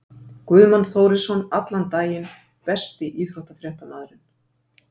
Guðmann Þórisson allan daginn Besti íþróttafréttamaðurinn?